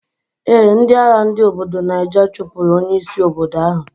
Ee, ndi agha ndi obodo Niger chupur onye isi obodo ahu.